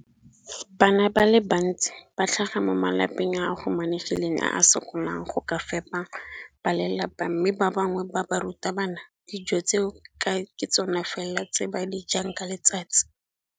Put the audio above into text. Bana ba le bantsi ba tlhaga mo malapeng a a humanegileng a a sokolang go ka fepa ba lelapa mme ba bangwe ba barutwana, dijo tseo ke tsona fela tse ba di jang ka letsatsi.